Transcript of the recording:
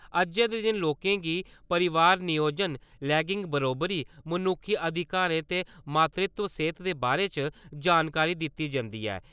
अज्जै दे दिन लोकें गी परोआर नियोजन, लैंगिक बरोबरी, मनुक्खी अधिकारें ते मातृत्व सेह्त दे बारै च जानकारी दित्ती जंदी ऐ ।